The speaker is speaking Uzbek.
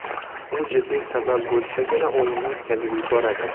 U jiddiy sabab bo‘lsagina o‘yinni o‘tkazib yuboradi.